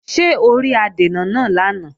Ṣé o rí adènà náà lánàá?